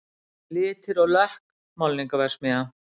Litir og lökk, málningarverksmiðja